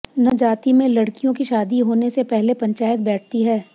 नजाति में लड़कियों की शादी होने से पह ले पंचायत बैठती है